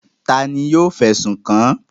Ta ni yóò fẹ̀sùn kàn án?